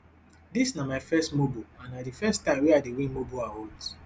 dis na my first mobo and na di first time wey i dey win mobo awards